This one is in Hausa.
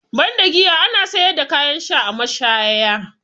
Banda giya, ana sayar da kayan sha a mashaya.